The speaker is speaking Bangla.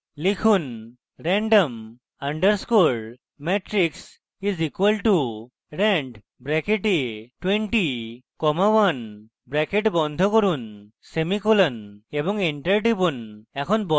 লিখুন: random underscore matrix is equal to rand bracket 20 comma 1 bracket বন্ধ করুন semicolon এবং enter টিপুন